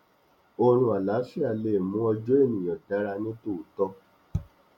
oorun àláfíà le mú ọjọ ènìyàn dára ní tòótọ